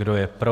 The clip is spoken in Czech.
Kdo je pro?